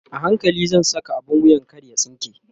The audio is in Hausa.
a hankali zan Saka abun wuyan kar ya tsinke